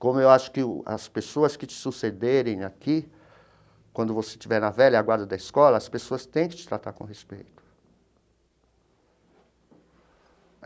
Como eu acho que o as pessoas que te sucederem aqui, quando você estiver na velha guarda da escola, as pessoas têm que te tratar com respeito.